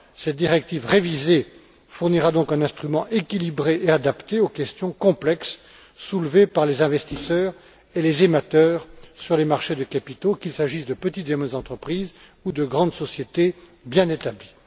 Cette directive révisée fournira donc un instrument équilibré et adapté aux questions complexes soulevées par les investisseurs et les émetteurs sur les marchés de capitaux, qu'il s'agisse de petites et moyennes entreprises ou de grandes sociétés bien établies.